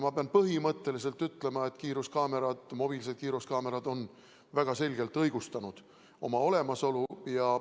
Ma pean põhimõtteliselt ütlema, et mobiilsed kiiruskaamerad on väga selgelt õigustanud oma olemasolu.